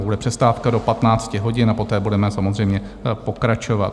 Bude přestávka do 15 hodin a poté budeme samozřejmě pokračovat.